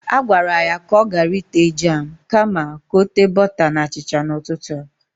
He was commanded to not use the jam but butter on his bread this morning!